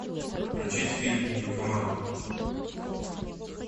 включить фильм нимфоманка